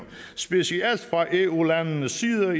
specielt fra eu landenes side af